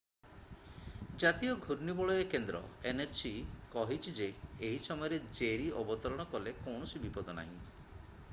ଜାତୀୟ ଘୂର୍ଣ୍ଣିବଳୟ କେନ୍ଦ୍ର nhc କହିଛି ଯେ ଏହି ସମୟରେ ଜେରୀ ଅବତରଣ କଲେ କୌଣସି ବିପଦ ନାହିଁ।